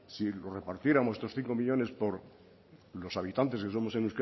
si los repartiéramos estos cinco millónes por los habitantes que somos en